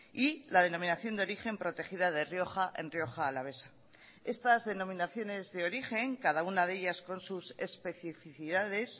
y la denominación de origen protegida de rioja en rioja alavesa estas denominaciones de origen cada una de ellas con sus especificidades